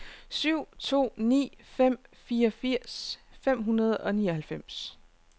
syv to ni fem fireogfirs fem hundrede og nioghalvfems